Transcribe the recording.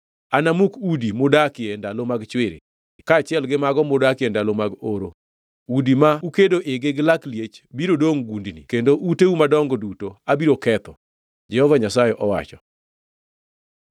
Anamuk udi mudakie e ndalo mag chwiri kaachiel gi mago mudakie ndalo mag oro; udi ma ukedo igi gi lak liech biro dongʼ gundni kendo uteu madongo duto abiro ketho,” Jehova Nyasaye owacho.